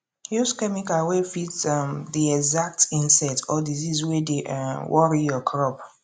use chemical wey fit um the exact insect or disease wey dey um worry your crop